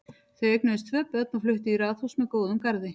Þau eignuðust tvö börn og fluttu í raðhús með góðum garði.